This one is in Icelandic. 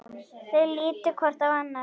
Þau líta hvort á annað.